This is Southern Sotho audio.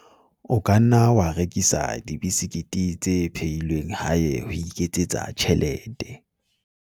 o ka nna wa rekisa dibesekete tse phehilweng hae ho iketsetsa tjhelete